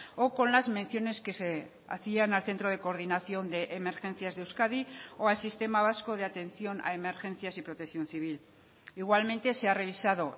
o con las menciones que se hacían al centro de coordinación de emergencias de euskadi o al sistema vasco de atención a emergencias y protección civil igualmente se ha revisado